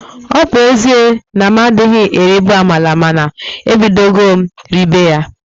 Ọ bu ezie na m adịghị eribu amala mana ebidogo m ribe ya